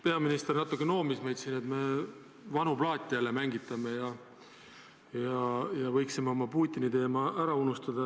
Peaminister natuke noomis meid, et me vanu plaate mängitame ja võiksime selle Putini-teema ära unustada.